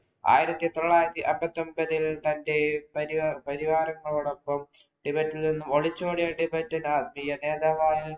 ആയിരത്തി തൊള്ളായിരത്തി അമ്പത്തി ഒമ്പതില്‍ തന്‍റെ പരിവാരങ്ങളോടൊപ്പം ടിബറ്റില്‍ നിന്നും ഒളിച്ചോടിയ ടിബറ്റന്‍ ആത്മീയ നേതാവാണ്‌